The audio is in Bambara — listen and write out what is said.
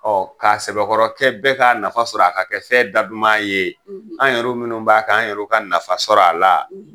Ɔ k'a sɛbɛkɔrɔ kɛ bɛɛ ka nafa sɔrɔ a la, k'a kɛ fɛn da duman ye, an yɛriw minnu b'a kɛ an yɛrɛ ka nafa sɔrɔ a la!